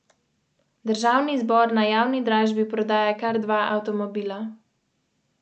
K akciji.